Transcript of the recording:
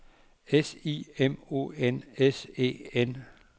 S I M O N S E N